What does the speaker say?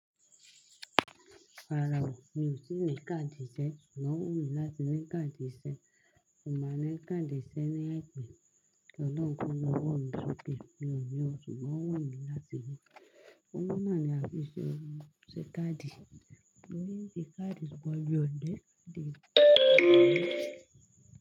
Rárá, mi ò tíì ní káàdì iṣẹ́. Òun wù mí láti ní káàdì iṣẹ́. Mo mọ̀ ní káàdì iṣẹ́ ní ẹ̀pẹ̀. Ọlọ́run ló wù mí sókè. Ni ọ̀ní, ó sì máa wù mí láti ni Òwo náà ni a fi ṣe ohun ṣe káàdì. Mo rí tí káàdì pọ̀ ju ọ̀dẹ̀ káàdì lọ ní.